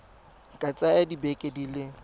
ka tsaya dibeke di le